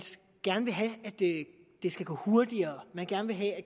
gerne vil have at det skal gå hurtigere at man gerne vil have at